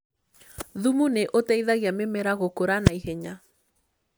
Thumu nĩ ũteithagia mĩmera gũkũra naihenya.